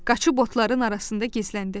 Qaçıb otların arasında gizləndi.